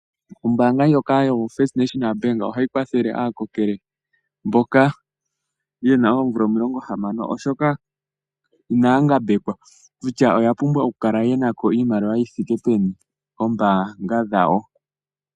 Ombaanga ndjoka yo First National Bank ohayi kwathele aakokele mboka ye na oomvula omilongo hamano. Oshoka inaya ngambekwa kutya oya pumbwa oku kala yena ko iimaliwa yi yithike peni koombaanga dhawo.